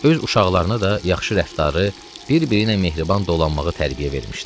Öz uşaqlarına da yaxşı rəftarı, bir-biriylə mehriban dolanmağı tərbiyə vermişdi.